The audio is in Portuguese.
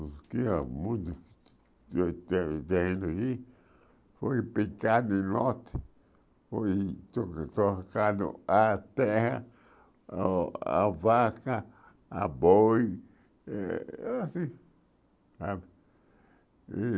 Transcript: O que a música tem tem tem ali foi picado em nós, foi a terra, a a vaca, a boi, eh assim,